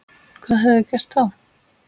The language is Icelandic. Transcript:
Hvað hefði gerst þá?